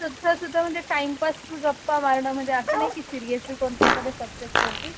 हे सुद्धा म्हणजे टाइमपास गप्पा मारणं म्हणजे असं नाही की सिरियसली कोणत्या एखाद्या सब्जेक्ट वरती